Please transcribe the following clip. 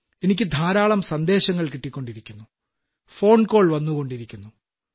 എനിക്ക് ധാരാളം സന്ദേശങ്ങൾ കിട്ടിക്കൊണ്ടിരിക്കുന്നു ഫോൺകാൾകളും വന്നുകൊണ്ടിരിക്കുന്നു